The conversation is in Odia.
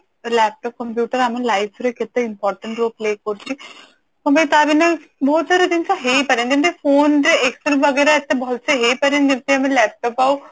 laptop computer ଆମ life ରେ କେଟ important role play କରୁଛି ମାନେ ତା ବୀନା ବହୁତ ସାରା ଜିନିଷ ହେଇପାରେନି ଯେମତି phone ରେ excel ବଗେରା ଏତେ ଭଲସେ ହେଇପାରେନି ଯେମତି ଆମେ laptop ଆଉ